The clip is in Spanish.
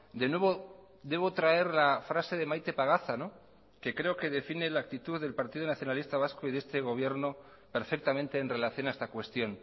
de nuevo debo traer la frase de maite pagaza que creo que define la actitud del partido nacionalista vasco y de este gobierno perfectamente en relación a esta cuestión